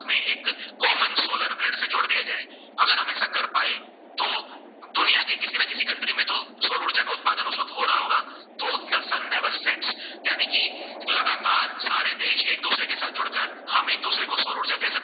तबतक हम दुसरे को सौर उर्जा दे सकते है